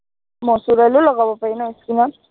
মচুৰ দালিও লগাব পাৰি ন skin ত